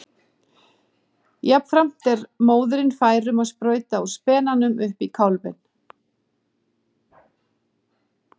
Jafnframt er móðirin fær um að sprauta úr spenanum upp í kálfinn.